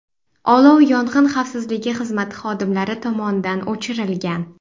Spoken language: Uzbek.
Olov yong‘in xavfsizligi xizmati xodimlari tomonidan o‘chirilgan.